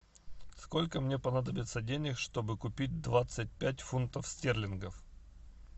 сколько мне понадобится денег чтобы купить двадцать пять фунтов стерлингов